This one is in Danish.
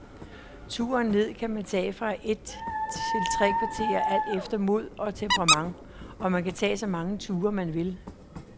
Turen ned kan tage fra et til tre kvarter alt efter mod og temperament, og man kan tage så mange ture, man vil.